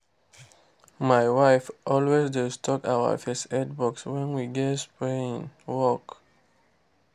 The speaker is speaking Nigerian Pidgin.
my wife always dey stock our first aid box when we get spraying work.